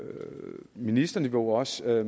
ministerniveau og sætter